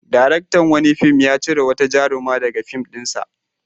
Daraktan wani fim ya cire wata jaruma daga fim ɗinsa.